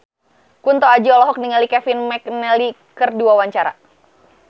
Kunto Aji olohok ningali Kevin McNally keur diwawancara